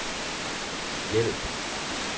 hjælp